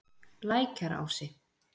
Lækjarási